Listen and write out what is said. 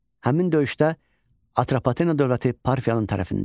Həmin döyüşdə Atropatena dövləti Parfiyanın tərəfində idi.